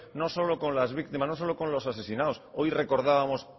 no solo con las víctimas no solo con los asesinados hoy recordábamos